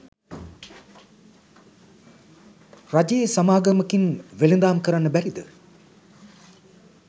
රජයේ සමාගමකින් වෙලදාම් කරන්න බැරිද?